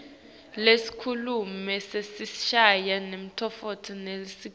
lesikhulumi sesishayamtsetfo nelisekela